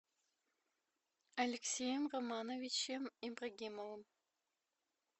алексеем романовичем ибрагимовым